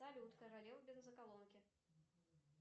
салют королева бензоколонки